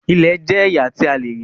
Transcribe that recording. Ìlẹ̀ jẹ̀ ẹyà tí à lèrí.